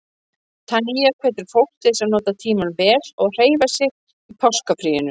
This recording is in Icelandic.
Tanya hvetur fólk til að nota tímann vel og hreyfa sig í páskafríinu.